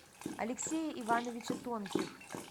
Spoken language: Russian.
алексея ивановича тонких